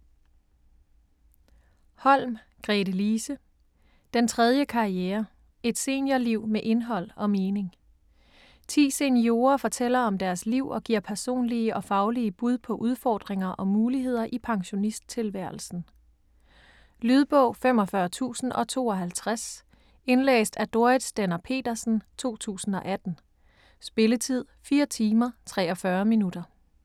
Holm, Gretelise: Den tredje karriere: et seniorliv med indhold og mening Ti seniorer fortæller om deres liv og giver personlige og faglige bud på udfordringer og muligheder i pensionisttilværelsen. Lydbog 45052 Indlæst af Dorrit Stender-Petersen, 2018. Spilletid: 4 timer, 43 minutter.